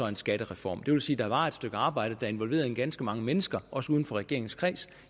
en skattereform det vil sige at der var et stykke arbejde der involverede ganske mange mennesker også uden for regeringens kreds